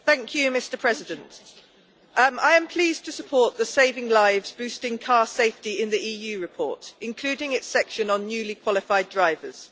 Mr President, I am pleased to support the Saving Lives Boosting Car Safety in the EU report, including its section on newly qualified drivers.